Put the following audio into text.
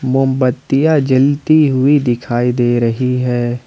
मोमबत्तियां जलती हुई दिखाई दे रही है ।